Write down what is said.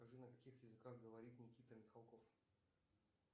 скажи на каких языках говорит никита михалков